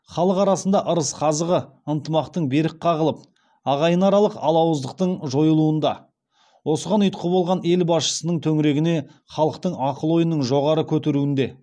халық арасында ырыс қазығы ынтымақтың берік қағылып ағайынаралық алауыздықтың жойылуында осыған ұйытқы болған ел басшысының төңірегіне халықтың ақыл ойының жоғары көтеруінде